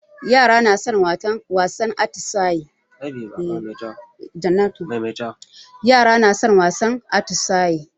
Yara na son wasan atisayi.